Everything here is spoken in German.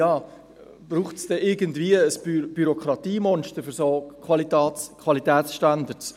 «Braucht es dann irgendwie ein Bürokratiemonster für solche Qualitätsstandards?